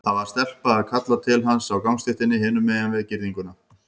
Það var stelpa að kalla til hans á gangstéttinni hinum megin við girðinguna.